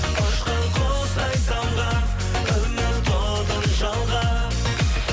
ұшқан құстай самға үміт отын жалға